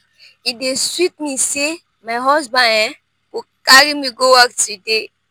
e dey sweet me say my husband um go carry me go work today